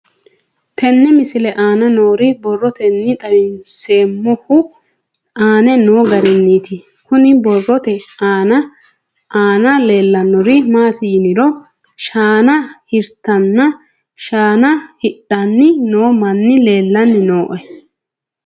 Tenne misile aana noore borroteni xawiseemohu aane noo gariniiti. Kunni borrote aana leelanori maati yiniro shaana hiritanninna shaana hidhanni noo manni leelaanni nooe.